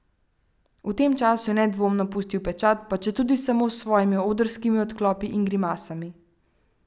V tem času je nedvomno pustil pečat, pa četudi samo s svojimi odrskimi odklopi in grimasami.